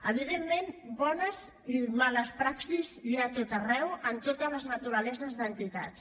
evidentment de bones i males praxis n’hi ha a tot arreu en totes les naturaleses d’entitats